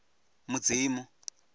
mudzimu